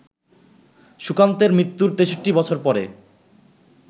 সুকান্তের মৃত্যুর ৬৩-বছর পরে